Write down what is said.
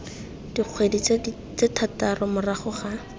dikgwedi tse thataro morago ga